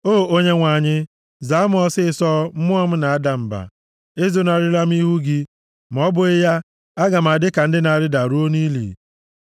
O Onyenwe anyị, zaa m ọsịịsọ; mmụọ m na-ada mba. Ezonarịla m ihu gị, ma ọ bụghị ya, aga m adị ka ndị na-arịda ruo nʼili.